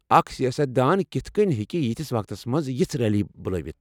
اکھ سیاست دان کتھہٕ کٔنۍ ہٮ۪کہٕ یتھس وقتس منٛز یژھ ریلی بُلٲوِتھ؟